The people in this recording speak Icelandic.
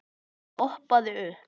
Ég hoppaði upp.